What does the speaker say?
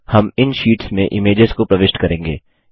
हम इन शीट्स में इमेजेस को प्रविष्ट करेंगे